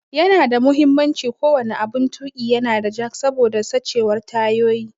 Yana da muhimmanci ko wani aɓun tuƙi ya na da jack saboda sachewan tayoyi.